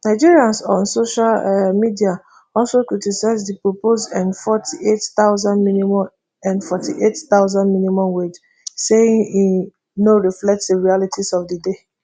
nigerians on social um media also criticise di proposed nforty-eight thousand minimum nforty-eight thousand minimum wage saying e um no reflect di realities of di day